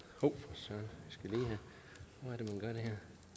så vil